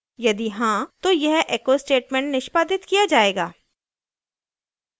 यदि हाँ तो यह echo statement निष्पादित किया जायेगा